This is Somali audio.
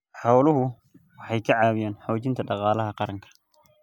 Xooluhu waxay ka caawiyaan xoojinta dhaqaalaha qaranka.